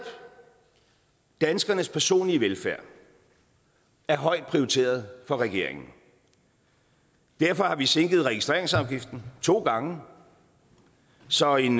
danskernes personlige velfærd er højt prioriteret af regeringen derfor har vi sænket registreringsafgiften to gange så en